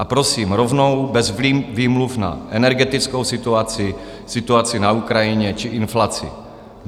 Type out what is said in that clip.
A prosím rovnou, bez výmluv na energetickou situaci, situaci na Ukrajině či inflaci.